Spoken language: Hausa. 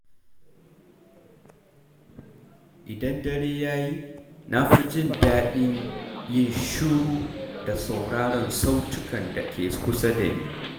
Idan dare ya yi, na fi jin daɗin yin shiru da sauraron sautukan da ke kusa da ni.